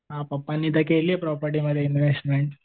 हां पप्पांनी तर केलीये प्रॉपर्टीमध्ये इन्व्हेस्टमेंट.